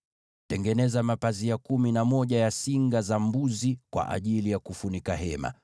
“Tengeneza mapazia kumi na moja ya singa za mbuzi kwa ajili ya kufunika maskani.